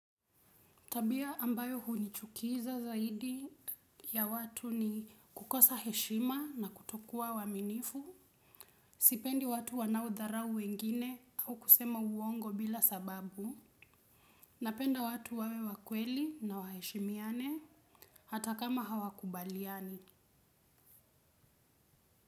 Tabia ambayo hunichukiza zaidi ya watu ni kukosa heshima na kutokuwa waaminifu, sipendi watu wanaodharau wengine au kusema uongo bila sababu, napenda watu wawe wakweli na waheshimiane hata kama hawakubaliani.